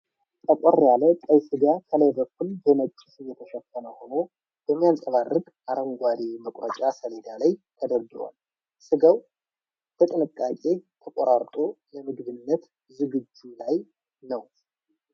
ጠቆር ያለ ቀይ ሥጋ ከላይ በኩል በነጭ ስብ የተሸፈነ ሆኖ፣ በሚያንፀባርቅ አረንጓዴ መቁረጫ ሰሌዳ ላይ ተደርድሯል። ሥጋው በጥንቃቄ ተቆራርጦ ለምግብነት ዝግጅት ላይ ነው።